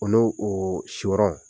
O n'ow oo siwɔrɔn